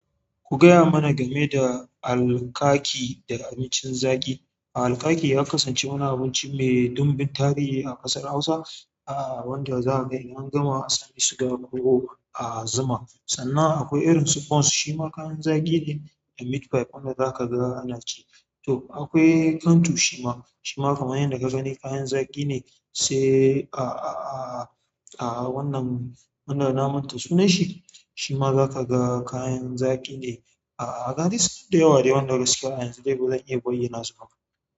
Ku gaya mana game da alkaki da abincin zaƙi. Alkaki ya kasance wani abinci mai dumbin tarihi a ƙasar Hausa, wanda za a ga in an gama asali suga ko a zuma. Sannan akwai irin su bons shima kayan zaƙi ne da meat pie wanda za ka ga ana ci. To akwai kanto shi ma shi ma kamar yanda ka sani kayan zaƙi sai a a a--- wannan na manta sunan shi, shi ma za ka ga kayan zaƙi ne. A ga dai su nan da yawa dai wanda gaskiya a yanzu dai ba zan iya bayyana su ba.